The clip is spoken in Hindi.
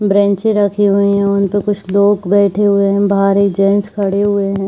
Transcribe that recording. बेंचे रखी हुईं हैं उनपे कुछ लोग बैठे हुएं हैं बाहर जेंट्स खड़े हुएं हैं।